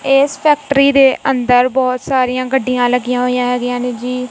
ਇਸ ਫੈਕਟਰੀ ਦੇ ਅੰਦਰ ਬਹੁਤ ਸਾਰੀਆਂ ਗੱਡੀਆਂ ਲੱਗੀਆਂ ਹੋਈਆਂ ਹੈਗੀਆਂ ਨੇਂ ਜੀ।